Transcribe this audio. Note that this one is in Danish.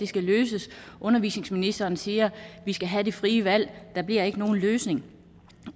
skal løses undervisningsministeren siger vi skal have det frie valg der bliver ikke nogen løsning